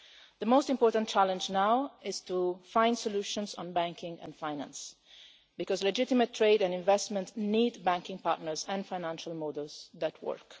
The most important challenge now is to find solutions on banking and finance, because legitimate trade and investment need banking partners and financial models that work.